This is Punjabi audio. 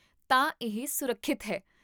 ਤਾਂ, ਇਹ ਸੁਰੱਖਿਅਤ ਹੈ